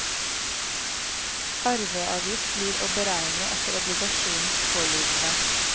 Arveavgift blir å beregne etter obligasjonens pålydende.